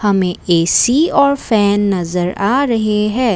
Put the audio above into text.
हमें ए_सी और फैन नज़र आ रहे है।